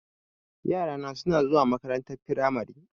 Yara suna zuwa makarantar firamari.